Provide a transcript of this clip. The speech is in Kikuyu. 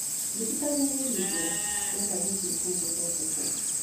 Thibitarĩ nĩ hingũre? ndĩrenda gũthiĩ kuo gũthondekwo